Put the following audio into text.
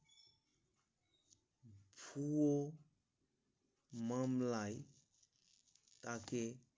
পুরো মামলায় তাকে